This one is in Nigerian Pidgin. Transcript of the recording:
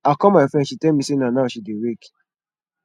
i call my friend she tell me say na now she dey wake